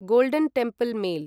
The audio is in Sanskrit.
golden Temple mail